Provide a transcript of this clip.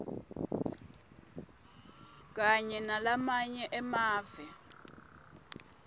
kanye nalamanye emave